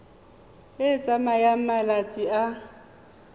e e tsayang malatsi a